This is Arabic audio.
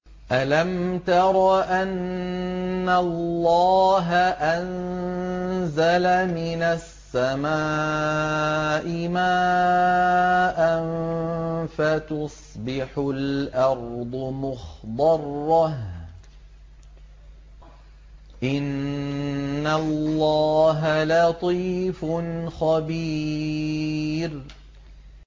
أَلَمْ تَرَ أَنَّ اللَّهَ أَنزَلَ مِنَ السَّمَاءِ مَاءً فَتُصْبِحُ الْأَرْضُ مُخْضَرَّةً ۗ إِنَّ اللَّهَ لَطِيفٌ خَبِيرٌ